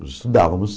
Estudávamos.